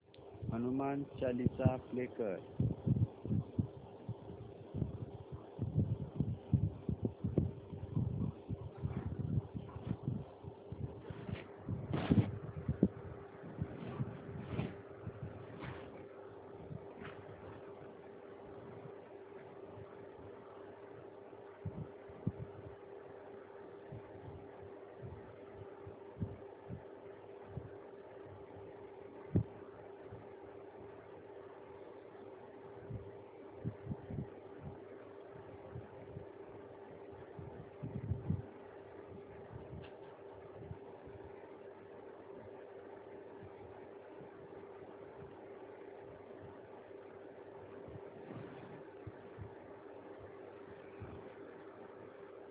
Hanuman Chalisa play कर